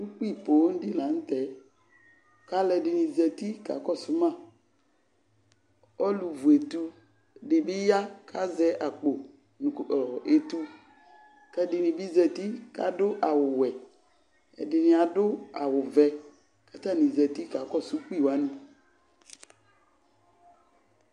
Ukpi poo dɩ la nʋ tɛ : k'alʋɛdɩnɩ zati k'akɔsʋ ma Ɔlʋ vuetu dɩ bɩ ya k'azɛ akpo nʋ ɔɔ etu , k'ɛdɩnɩ bɩ zati k'adʋ awʋwɛ ; ɛdɩnɩ adʋ awʋvɛ , k'atanɩ zati k'akɔsʋ ukpi wanɩ